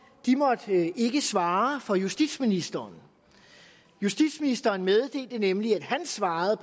ikke måtte svare for justitsministeren justitsministeren meddelte nemlig at han svarede